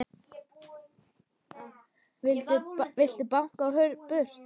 Vildu báknið burt.